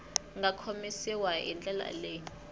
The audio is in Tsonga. nga komisiwa hi ndlela leyi